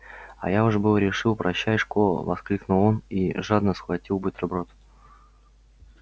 а я уж было решил прощай школа воскликнул он и жадно схватил бутерброд